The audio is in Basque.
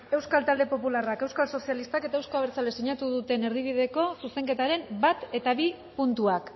euskal talde popularra euskal sozialistak eta eusko abertzale sinatu duten erdibideko zuzenketaren bat eta bi puntuak